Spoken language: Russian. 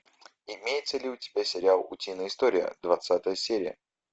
имеется ли у тебя сериал утиные истории двадцатая серия